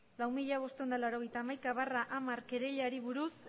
lau mila bostehun eta laurogeita hamaika barra hamar kereilari buruz